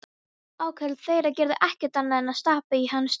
Áköll þeirra gerðu ekkert annað en stappa í hann stálinu.